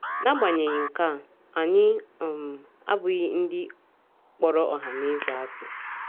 N’agbanyeghị nke a, anyị um abụghị “ ndị kpọrọ ọhaneze asị. ”